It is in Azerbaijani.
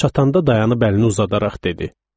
Çatanda dayanıb əlini uzadaraq dedi: